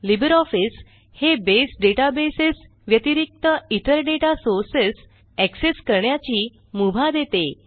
Libre Office हे बसे databases व्यतिरिक्त इतर डेटा सोर्सेस एक्सेस करण्याची मुभा देते